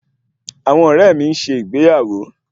Àwọn ọrẹ mi ń ṣe ìgbéyàwó